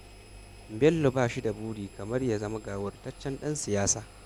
Bello ba shi da buri kamar ya zama gawurtaccen ɗan siyasa